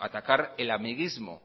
atacar el amiguismo